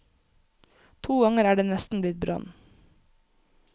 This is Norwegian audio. To ganger er det nesten blitt brann.